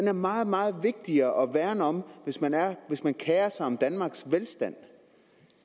er meget meget vigtigere at værne om hvis man kerer sig om danmarks velstand